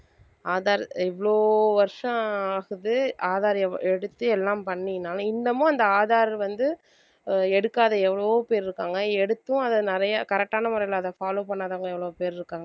aadhar இவ்வளோ வருஷம் ஆகுது aadhar எ~ எடுத்து எல்லாம் பண்ணினாலும் இன்னமும் அந்த aadhar வந்து எடுக்காத எவ்வளவோ பேர் இருக்காங்க எடுத்தும் அதை நிறைய correct ஆன முறையில அதை follow பண்ணாதவங்க எவ்வளவு பேர் இருக்காங்க